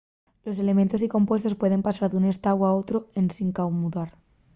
los elementos y compuestos pueden pasar d'un estáu a otru ensin camudar